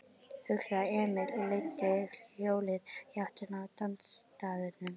hugsaði Emil og leiddi hjólið í áttina að dansstaðnum.